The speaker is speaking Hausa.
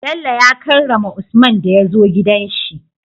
bello ya karrama usman daya zo gidan shi